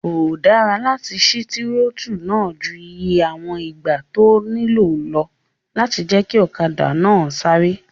Kò dára láti sí tírótù náà ju iye àwọn ìgbà tó nílò lọ láti jẹ́ kí ọ̀kadà náà sáré